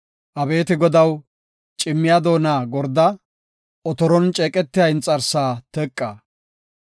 Abeeti Godaw, cimmiya doona gorda; otoron ceeqetiya inxarsaa teqa.